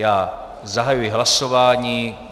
Já zahajuji hlasování.